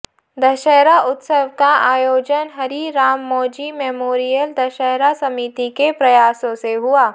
दशहरा उत्सव का आयोजन हरि राम मौजी मेमोरियल दशहरा समिति के प्रयासों से हुआ